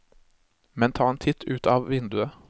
Men ta en titt ut a vinduet.